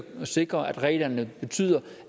sikre at reglerne betyder